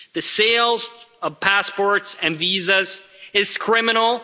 The sale of passports and visas is criminal